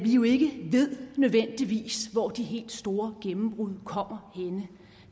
jo ikke nødvendigvis hvor de helt store gennembrud kommer henne